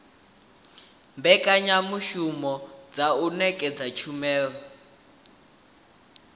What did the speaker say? mbekanyamushumo dza u ṅetshedza tshumelo